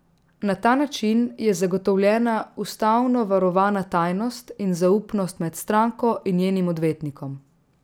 Na ta način je zagotovljena ustavno varovana tajnost in zaupnost med stranko in njenim odvetnikom.